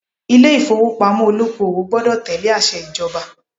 Ilé ìfowópamọ́ olóko-òwò gbọdọ̀ tẹ̀lé àṣẹ ìjọba